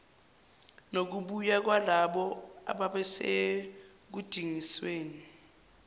nokubuya kwalabo ababesekudingisweni